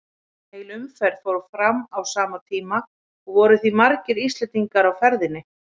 Heil umferð fór fram á sama tíma og voru því margir Íslendingar á ferðinni.